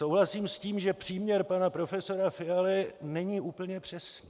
Souhlasím s tím, že příměr pana profesora Fialy není úplně přesný.